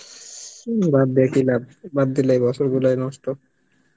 উম বাদ দিয়ে কি লাব, বাদ দিলে বছর গুলাই নষ্ট